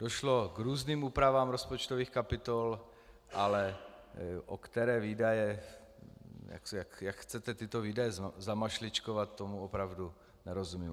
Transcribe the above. Došlo k různým úpravám rozpočtových kapitol, ale o které výdaje... jak chcete tyto výdaje zamašličkovat, tomu opravdu nerozumím.